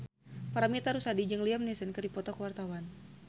Paramitha Rusady jeung Liam Neeson keur dipoto ku wartawan